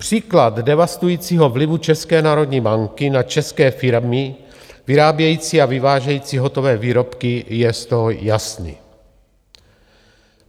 Příklad devastujícího vlivu České národní banky na české firmy vyrábějící a vyvážející hotové výrobky je z toho jasný.